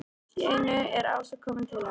Allt í einu er Ása komin til hans.